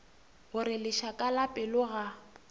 gore lešaka la pelo ga